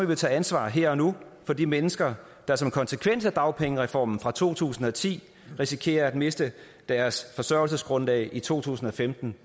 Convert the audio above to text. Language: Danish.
vi tage ansvar her og nu for de mennesker der som konsekvens af dagpengereformen fra to tusind og ti risikerer at miste deres forsørgelsesgrundlag i to tusind og femten